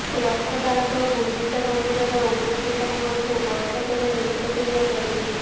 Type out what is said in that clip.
ରଥ ଦାଣ୍ଡ ଗୁଣ୍ଡିଚା ମନ୍ଦିରର ଉନ୍ନତି ପାଇଁ ମଧ୍ୟ ବୈଠକରେ ନିଷ୍ପତ୍ତି ନିଆଯାଇଛି